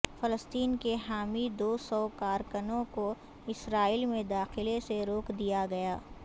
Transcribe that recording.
فلسطین کے حامی دو سو کارکنوں کو اسرائیل میں داخلے سے روک دیا گیا